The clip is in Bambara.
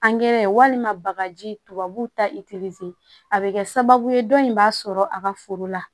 walima bagaji tubabuw ta a bɛ kɛ sababu ye dɔ in b'a sɔrɔ a ka foro la